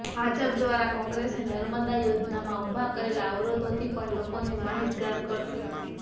ભાજપ દ્વારા કોંગ્રેસે નર્મદા યોજનામાં ઊભા કરેલા અવરોધોથી પણ લોકોને માહિતગાર કરાશે